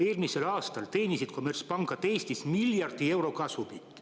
Eelmisel aastal teenisid kommertspangad Eestis miljard eurot kasumit.